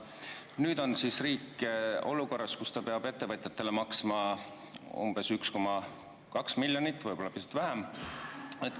Nüüd on siis riik olukorras, kus ta peab ettevõtjatele maksma umbes 1,2 miljonit, võib-olla pisut vähem.